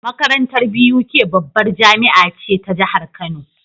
Makarantar BUK babbar jamia ce ta jahar kano